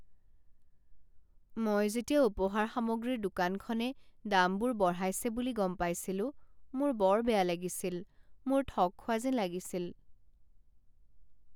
মই যেতিয়া উপহাৰ সামগ্ৰীৰ দোকানখনে দামবোৰ বঢ়াইছে বুলি গম পাইছিলো মোৰ বৰ বেয়া লাগিছিল, মোৰ ঠগ খোৱা যেন লাগিছিল।